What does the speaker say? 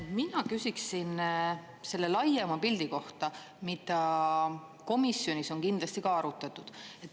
Mina küsiksin selle laiema pildi kohta, mida komisjonis on kindlasti ka arutatud.